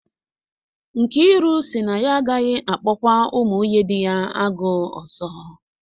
Nkiru sị na ya agaghị akpọkwa ụmụ nwunye dị ya agụụ ọzọ